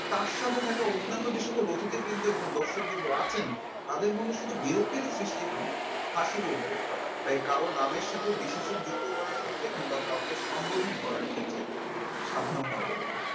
তার সাথে থাকা অন্যান্য যে সকল অতিথিবৃন্দ এবং দর্শক বিন্দু আছেন তাদের মনে শুধু বিরক্তিও সৃষ্টি হয় না হাসির উর্ধ্বে হয় তাই কারো নামের সাথে বিশ্বযুক্ত করার ক্ষেত্রে কিংবা কাউকে সম্বোধন করার ক্ষেত্রে সাবধানতাঅবলম্বিত